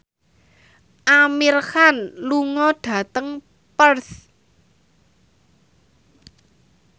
Amir Khan lunga dhateng Perth